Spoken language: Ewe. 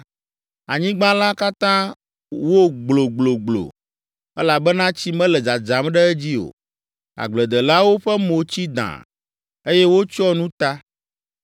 Anyigba la katã wo gblogblogblo, elabena tsi mele dzadzam ɖe edzi o; agbledelawo ƒe mo tsi dãa, eye wotsyɔ nu ta.